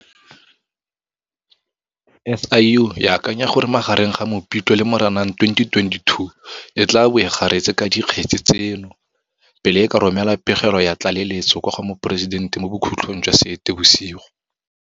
SIU e akanya gore magareng ga Mopitlwe le Moranang 2022 e tla bo e garetse ka dikgetse tseno, pele e ka romela pegelo ya tlaleletso kwa go Moporesidente mo bokhutlhong jwa Seetebosigo.